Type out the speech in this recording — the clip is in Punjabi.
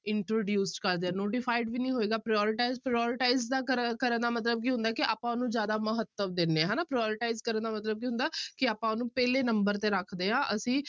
Introduce ਕਰਦੇ ਹਾਂ notified ਵੀ ਨੀ ਹੋਏਗਾ prioritize, prioritize ਦਾ ਕਰ ਕਰਨ ਦਾ ਮਤਲਬ ਕੀ ਹੁੰਦਾ ਹੈ ਕਿ ਆਪਾਂ ਉਹਨੂੰ ਜ਼ਿਆਦਾ ਮਹੱਤਵ ਦਿੰਦੇ ਹਾਂ ਹਨਾ prioritize ਕਰਨ ਦਾ ਮਤਲਬ ਕੀ ਹੁੰਦਾ ਕਿ ਆਪਾਂ ਉਹਨੂੰ ਪਹਿਲੇ number ਤੇ ਰੱਖਦੇ ਹਾਂ ਅਸੀਂ